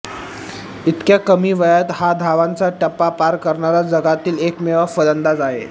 इतक्या कमी वयात हा धावांचा टप्पा पार करणारा जगातील एकमेव फलंदाज आहे